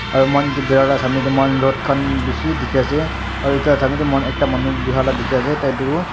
aru moikan edu bhaera la samnae tae moihan rod khan bishi dikhiase aru edu la samnae tae moihan ekta manu huhila dikhiase taitu--